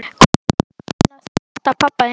Hvað er annars að frétta af pabba þínum?